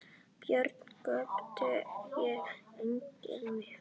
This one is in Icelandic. Börn göptu og gengu með.